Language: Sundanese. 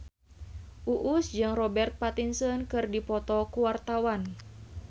Uus jeung Robert Pattinson keur dipoto ku wartawan